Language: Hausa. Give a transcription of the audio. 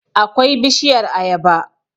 akwai bishiyar ayaba